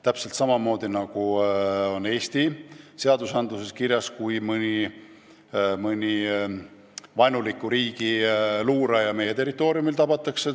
Täpselt samamoodi on Eesti seaduses kirjas, mis saab, kui mõni vaenuliku riigi luuraja meie territooriumil tabatakse.